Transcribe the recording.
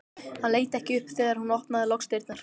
Hann leit ekki upp þegar hún opnaði loks dyrnar.